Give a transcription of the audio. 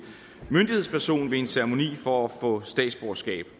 myndighedsperson ved en ceremoni for at få statsborgerskab